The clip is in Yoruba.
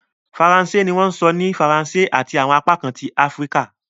Faransé ni wọ́n sọ ní Faransé ati awọn apakan ti Afirika